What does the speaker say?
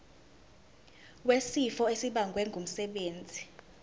wesifo esibagwe ngumsebenzi